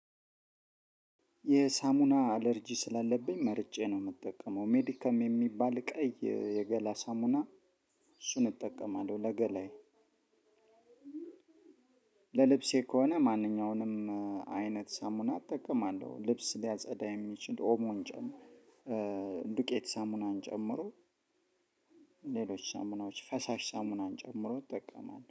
የሳሙና አለርጂ ስላለብኝ መርጬ ነው ምጠቀመው ሜዲካም የሚባል ቀይ የገላ ሳሙና እሱን እጠቀማለሁ ለገላዬ። ለልብሴ ከሆነ ማንኛውንም አይነት ሳሙና እጠቀማለሁ ልብስ ሊያጸዳ የሚችል ኦሞን ጨምሮ ዱቄት ሳሙናን ጨምሮ ሌሎች ሳሙናዎችን ፈሳሽ ሳምናን ጨምሮ ጠቀማለች